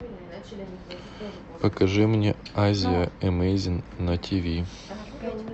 покажи мне азия эмэйзин на тв